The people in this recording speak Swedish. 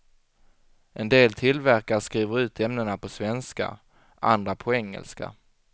En del tillverkare skriver ut ämnena på svenska, andra på engelska.